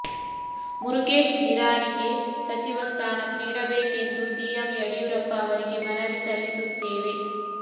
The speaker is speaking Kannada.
ಮುರುಗೇಶ್ ನಿರಾಣಿಗೆ ಸಚಿವ ಸ್ಥಾನ ನೀಡಬೇಕೆಂದು ಸಿಎಂ ಯಡಿಯೂರಪ್ಪ ಅವರಿಗೆ ಮನವಿ ಸಲ್ಲಿಸುತ್ತೇವೆ